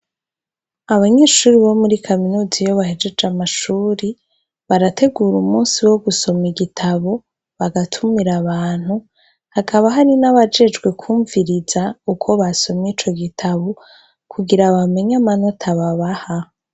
Abanyeshure bo muri Kaminuza yo bahejeje amashuri barategura umunsi wo gusoma igitabo bagatumira abantu hakaba hari n'abajejwe kumviriza uko basomye ico gitabo kugira abamenya amanota babaha.